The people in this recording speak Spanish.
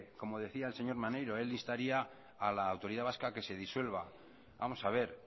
como decía el señor maneiro él instaría a la autoridad vasca que se disuelva vamos a ver